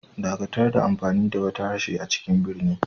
Dakatar da amfani da wata harshe a cikin birni.